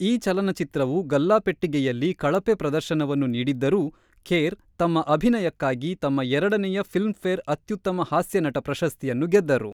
ಈ ಚಲನಚಿತ್ರವು ಗಲ್ಲಾಪೆಟ್ಟಿಗೆಯಲ್ಲಿ ಕಳಪೆ ಪ್ರದರ್ಶನವನ್ನು ನೀಡಿದ್ದರೂ, ಖೇರ್ ತಮ್ಮ ಅಭಿನಯಕ್ಕಾಗಿ ತಮ್ಮ ಎರಡನೆಯ ಫಿಲ್ಮ್‌ಫೇರ್ ಅತ್ಯುತ್ತಮ ಹಾಸ್ಯ ನಟ ಪ್ರಶಸ್ತಿಯನ್ನು ಗೆದ್ದರು.